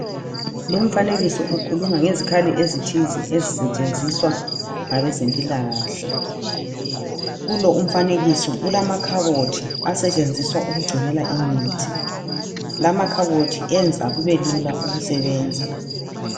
Lumfanekiso ukhuluma ngezikhali ezithize ezisetshenziswa ngabezempilakahle. Kulo umfanekiso kulamakhabothi asetshenziswa ukugcinela imithi. Lamakhabothi enza kube lula ukusebenza.